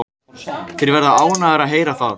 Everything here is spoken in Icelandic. Þeir verða ánægðir að heyra það.